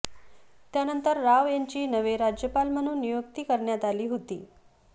त्यानंतर राव यांची नवे राज्यपाल म्हणून नियुक्ती करण्यात आली होती